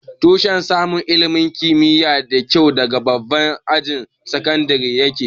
Tushen samun ilimin kimiyya mai kyua daga babban ajin sakandire ya ke